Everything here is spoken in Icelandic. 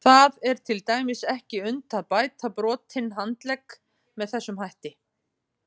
Það er til dæmis ekki unnt að bæta brotinn handlegg með þessum hætti.